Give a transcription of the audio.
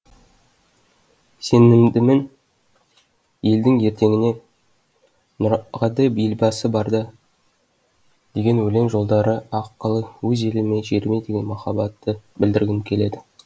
сенімдімін елдің ертеңіне нұрағадай елбасы барда деген өлең жолдары арқылы өз еліме жеріме деген махабатты білдіргім келеді